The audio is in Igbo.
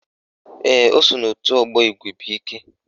Ee, o so n'òtù ọgbọ Igwebuike